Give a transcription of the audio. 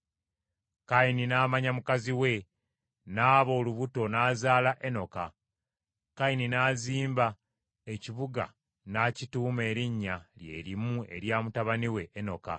Kayini n’amanya mukazi we, n’aba olubuto n’azaala Enoka. Kayini n’azimba ekibuga n’akituuma erinnya lyerimu erya mutabani we Enoka.